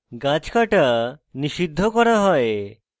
গাছ কাটা নিষিদ্ধ করা হয়